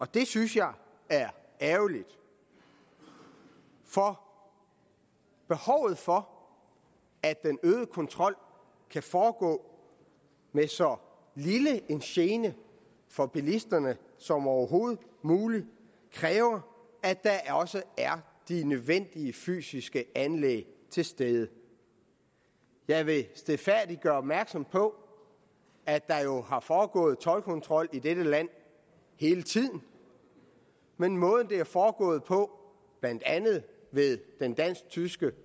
det synes jeg er ærgerligt for behovet for at den øgede kontrol kan foregå med så lille en gene for bilisterne som overhovedet muligt kræver at der også er de nødvendige fysiske anlæg til stede jeg vil stilfærdigt gøre opmærksom på at der jo har foregået toldkontrol i dette land hele tiden men måden det er foregået på blandt andet ved den dansk tyske